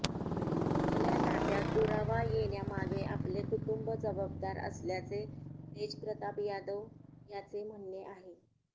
आपल्या नात्यात दुरावा येण्यामागे आपले कुटुंब जबाबदार असल्याचे तेज प्रताप यादव याचे म्हणणे आहे